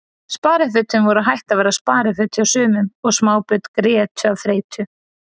Sparifötin voru hætt að vera spariföt hjá sumum og smábörn grétu af þreytu.